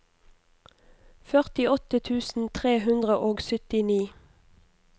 førtiåtte tusen tre hundre og syttini